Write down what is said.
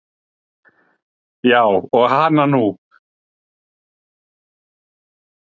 Já og hana nú.